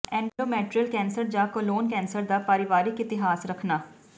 endometrial cancer ਜਾਂ colon cancer ਦਾ ਪਰਿਵਾਰਿਕ ਇਤਿਹਾਸ ਰੱਖਣਾ